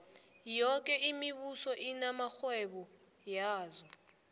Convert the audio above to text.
yoke imibuso inamarhwebo yazo